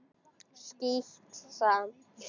Skítt, sagði hann.